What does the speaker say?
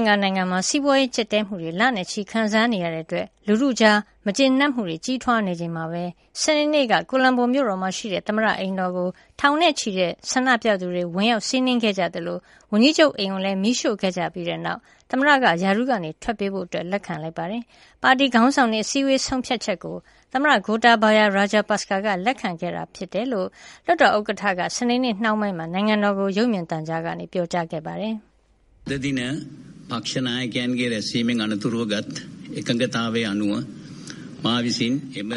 င်္ကာနိုင်ငံမှာ စီးပွါးရေးကျပ်တည်းမှုတွေ လနဲ့ချီခံစားနေရတာကြောင့် လူထုကြား မကျေနပ်မှုတွေ ကြီးထွားနေချိန်မှာပဲ၊ စနေနေ့က ကိုလံဘိုမြို့တော်မှာရှိတဲ့ သမ္မတအိမ်တော်ကို ထောင်နဲ့ချီတဲ့ ဆန္ဒပြသူဝင်ရောက်စီးနင်းခဲ့ကြသလို၊ ဝန်ကြီးချုပ်အိမ်ကိုလည်း မီးရှို့ခဲ့ကြပြီးနောက် သမ္မတက ရာထူးကထွက်ပေးဖဖို့ လက်ခံလိုက်ပါတယ်။ ပါတီခေါင်းဆောင်တွေ အစည်းအဝေး ဆုံးဖြတ်ချက်ကို သမ္မတ Gotabaya Rajapaksa က လက်ခံခဲ့တာဖြစ်ကြောင်း လွှတ်တော်ဥက္ကဌက စနေနေ့နှောင်းပိုင်းမှာ နိုင်ငံတော်ကို ရုပ်မြင်သံကြားကနေ ပြောကြားခဲ့တာပါ။ "